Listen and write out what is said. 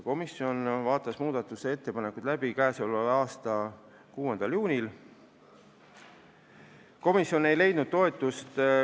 Komisjon vaatas need läbi 6. juunil.